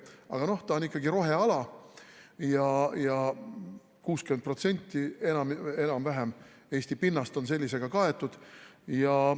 Aga noh, ta on ikkagi roheala ja enam-vähem 60% Eesti pinnast on sellega kaetud.